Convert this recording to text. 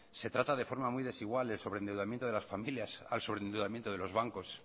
se trata de forma muy desigual el sobreendeudamiento de las familias al sobreendeudamiento de los bancos